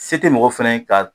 Si te mɔgɔ fana ka